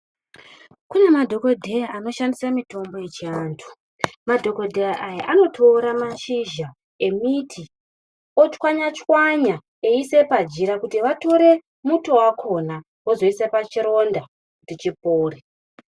Kune madhokodheya anoshandise mitombo yechiantu. Madhokodheya aya anotora mashinja emiti otswanya tswanya veiisa pajira kuti vatore muto wakhona vozoisa pachironda kuti chipore.